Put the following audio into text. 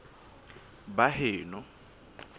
baheno